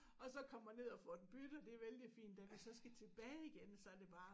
Og så kommer ned og får den byttet det er vældig fint da vi så skal tilbage igen så det bare